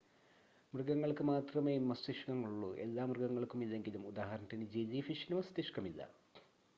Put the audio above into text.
മൃഗങ്ങൾക്ക് മാത്രമേ മസ്തിഷ്ക്കങ്ങൾ ഉള്ളൂ എല്ലാ മൃഗങ്ങൾക്കും ഇല്ലെങ്കിലും; ഉദാഹരണത്തിന് ജെല്ലി ഫിഷിന് മസ്തിഷ്ക്കമില്ല